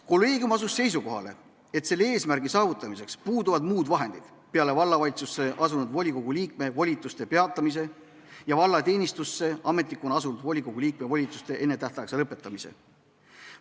" Kolleegium asus seisukohale: "Selle eesmärgi saavutamiseks puuduvad muud vahendid peale vallavalitsusse asunud volikogu liikme volituste peatumise ja valla teenistusse ametnikuna asunud volikogu liikme volituste ennetähtaegse lõppemise.